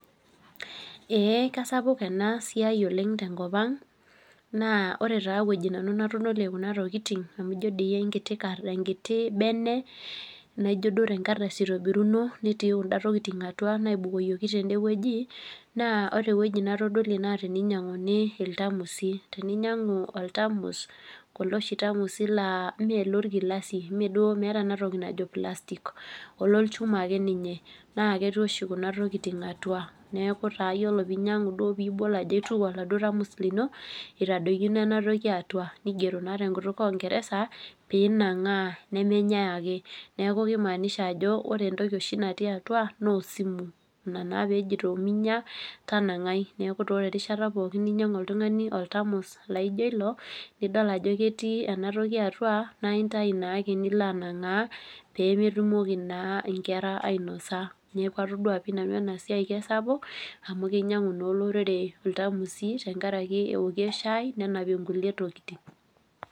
Kisapuk ena siai tenkopang, naa ore eweji natodolie nanu kuna tokiting amu ijo duo enkiti bene naijo tenkardasi eitobiruno netii kunda tokiting atua naibukoyioki tendeweji ,naa ore eweji natodolie naa tininyanguni iltamusi. Tinanyangu oltamus lee me lorkilasi meeta enatoki najo plastic olonchuma ake ninye naa ketii oshi kuno tokiting atua .Neeku taa ore pee inyangu nibol ajo aituku oladuo tamus lino, eitadoikino ena toki atua, nigero naa tenkutuk ongeresa pee inangaa nemenyae ake. Neeku kimaanisha ajo ore oshi entoki natii atua naa osimu ina naaa pejito ninya tanangai. Neekutaa ore erishata pookin ninyangu oltungani oltamos laijo ilo, nidol ajo ketii enatoki atua ,naa intayu naake nilo angaa pee metumoki naa nkera ainosa .Neeku etodua nanu ena siai kisapuk amu kinyangu naa olorere iltamusi tenkaraki eokie sahhi nenapie nkulie tokiting.